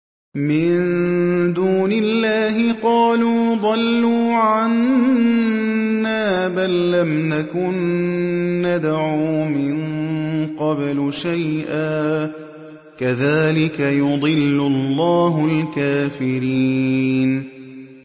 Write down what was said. مِن دُونِ اللَّهِ ۖ قَالُوا ضَلُّوا عَنَّا بَل لَّمْ نَكُن نَّدْعُو مِن قَبْلُ شَيْئًا ۚ كَذَٰلِكَ يُضِلُّ اللَّهُ الْكَافِرِينَ